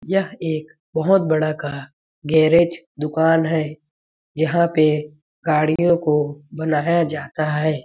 यह एक बहुत बड़ा का गैरेज दुकान है जहाँ पे गाड़ियों को बनाया जाता हैं ।